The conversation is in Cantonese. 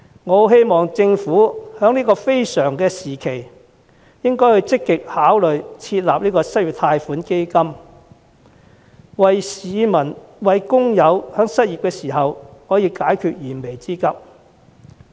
我希望政府在這個非常時期，會積極考慮設立失業貸款基金，為失業的市民和工友解決燃眉之急。